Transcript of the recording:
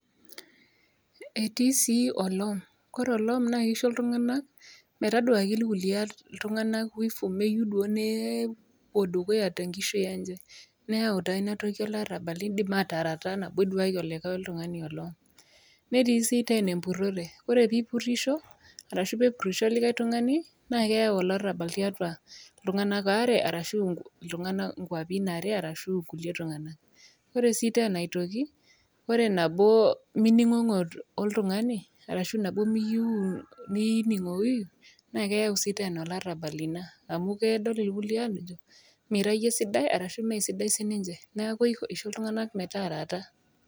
Etii sii olom. Ore olom naa keisho iltung'ana metaduaki metoduaki ilkulie tumg'ana wivu meyiou duo nepuo dukuya te enkishui enye. Neyau naa ina toki olarabal eidim ataarata nabo iduaki likai tung'ani olom. Netii sii teena empurore, ore pee ipurisho arashu pee epurisho olikai tung'ani, naa keyau olarabal tiatua iltung'ana waare arashu inkwapi are ashu ilkulie tung'ana. Ore sii teena aitoki, ore nabo mining'ong'o oltung'ani ashu miyouuu nining'oyuyu naa keyau sii teena olarabal ina, amu kedol ilkulie aajo mira iyie sidai nemee sidain sii ninche, neaku neisho iltung'ana metaarata.